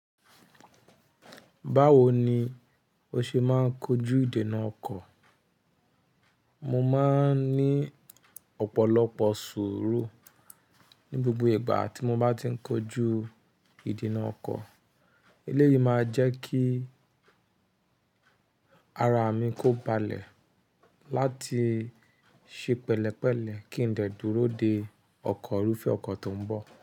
Báwo ni o ṣe máa ń kojú ìdènà ọkọ̀? Mo máa ń ní ọ̀pọ̀lọpọ̀ sùúrù ní gbogbo ìgbà tí mo bá ti ń kojú ìdènà ọkọ̀. Eléyìí máa jẹ́ kí ara mi kó balẹ̀ láti ṣe pẹ̀lẹ́pẹ̀lẹ́ kí n lè dúró de ọkọ̀ rúfẹ́ ọkọ̀ tó ń bọ̀